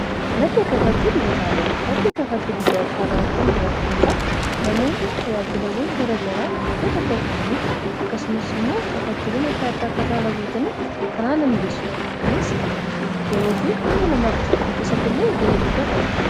madda kafaltii dijitaalawa. madda kafaltii dijataalawa kun jiraachuun isaa namoonni tajaajilawwan garagaraa iddoo tokko ta'anii akkasumas immoo kafaltiiwwan adda adda akkasaan argataniif kan haala miijessuudha. kunis yeroo fi humna namaa qosachuu keessatti illee ga'ee guddaa taphata.